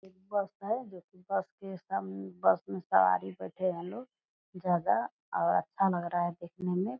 एक बस है जो की बस स्टेशन बस में सवारी बैठे हैं लोग जगह और अच्छा लग रहा है देखने में।